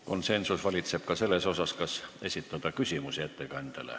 Konsensus valitseb ka selles, kas esitada ettekandjale küsimusi.